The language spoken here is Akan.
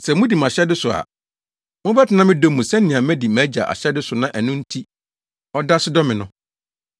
Sɛ mudi mʼahyɛde so a mobɛtena me dɔ mu sɛnea madi mʼAgya ahyɛde so na ɛno nti ɔda so dɔ me no.